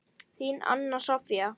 Þín, Anna Soffía.